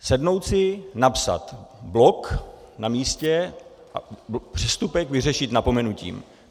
Sednout si, napsat blok na místě a přestupek vyřešit napomenutím.